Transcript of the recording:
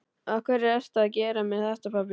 Af hverju ertu að gera mér þetta, pabbi?